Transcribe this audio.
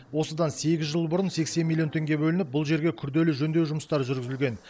осыдан сегіз жыл бұрын сексен миллион теңге бөлініп бұл жерге күрделі жөндеу жұмыстары жүргізілген